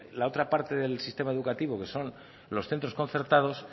la otra parte del sistema educativo que son los centros concertados